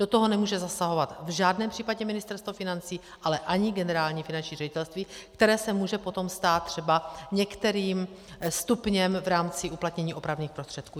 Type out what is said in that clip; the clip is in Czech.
Do toho nemůže zasahovat v žádném případě Ministerstvo financí, ale ani Generální finanční ředitelství, které se může potom stát třeba některým stupněm v rámci uplatnění opravných prostředků.